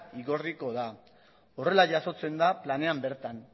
igorriko da horrela jasotzen da planean bertan